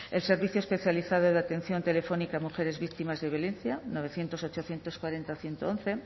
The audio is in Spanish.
el servicio especializado de atención telefónica a mujeres víctimas de violencia novecientos ochocientos cuarenta ciento once